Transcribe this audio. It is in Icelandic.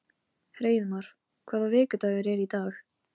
Hreiðmar, hvaða vikudagur er í dag?